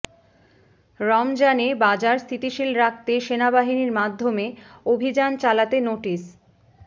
রমজানে বাজার স্থিতিশীল রাখতে সেনাবাহিনীর মাধ্যমে অভিযান চালাতে নোটিশ